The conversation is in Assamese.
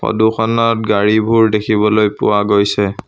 ফটো খনত গাড়ীবোৰ দেখিবলৈ পোৱা গৈছে।